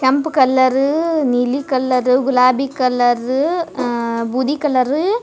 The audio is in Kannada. ಕೆಂಪ್ ಕಲರ್ ಅಅ ನೀಲಿ ಕಲರ್ ಅ ಗುಲಾಬಿ ಕಲರ್ ಅಅ ಬೂದಿ ಕಲರ್ ಅ --